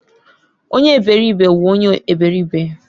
Onye eberibe wu onye eberibe